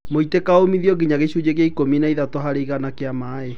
Mũitĩka ũmithio nginya gĩshunjĩ kĩa ikũmi na ithatũ harĩ igana kĩa maĩĩ